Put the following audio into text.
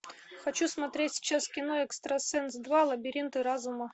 хочу смотреть сейчас кино экстрасенс два лабиринты разума